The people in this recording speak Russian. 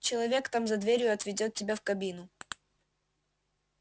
человек там за дверью отведёт тебя в кабину